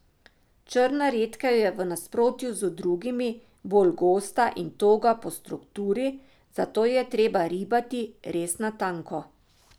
Črna redkev je v nasprotju z drugimi bolj gosta in toga po strukturi, zato jo je treba ribati res na tanko.